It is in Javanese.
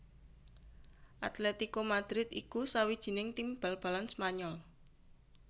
Atlético Madrid iku sawijining tim bal balan Spanyol